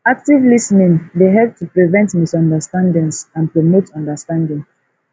active lis ten ing dey help to prevent misunderstandings and promote understanding